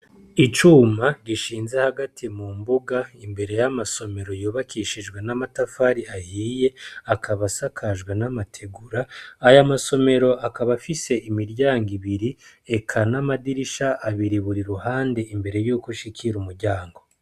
Icuma gishinze hagati mu mbuga imbere y'amasomero yubakishijwe n'amatafari ahiye akaba asakajwe n'amategura ayo amasomero akaba afise imiryango ibiri eka n'amadirisha abiri buri ruhande imbere yuko ushikira umuryango.